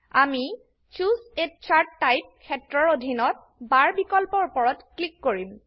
আমি চুচে a chart type ক্ষেত্ৰৰ অধিনত বাৰ বিকল্পৰ উপৰত ক্লিক কৰিম